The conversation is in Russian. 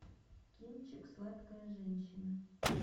кинчик сладкая женщина